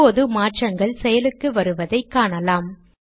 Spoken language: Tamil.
இப்போது மாற்றங்கள் செயலுக்கு வருவதை காணலாம்